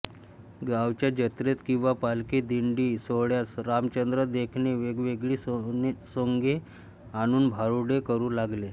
गावच्या जत्रेत किंवा पालखी दिंडी सोहळ्यात रामचंद्र देखणे वेगवेगळी सोंगे आणून भारुडे करू लागले